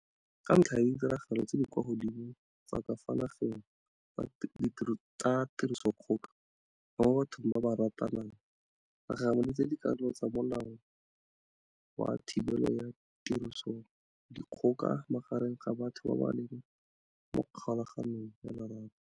Ka ntlha ya ditiragalo tse di kwa godimo tsa ka fa nageng tsa tirisodikgoka mo bathong ba ba ratanang, re gagamaditse dikarolo tsa Molao wa Thibelo ya Tirisodikgoka Magareng ga Batho ba ba Leng mo Kgolaganong ya Lorato.